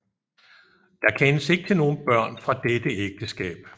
Der kendes ikke til nogen børn fra dette ægteskab